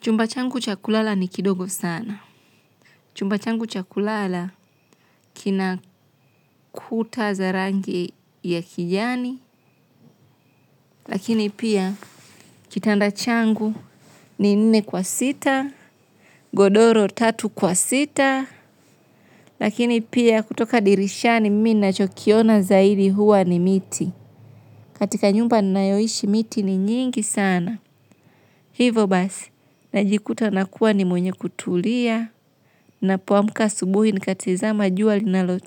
Chumba changu cha kulala ni kidogo sana. Chumba changu cha kulala kina kuta za rangi ua kijani. Lakini pia kitanda changu ni nne kwa sita, godoro tatu kwa sita. Lakini pia kutoka dirishani mimi nachokiona zaidi huwa ni miti. Katika nyumba ninayoishi miti ni nyingi sana. Hivo basi, najikuta nakuwa ni mwenye kutulia. Na poamuka asubuhi nikatizima jua linalo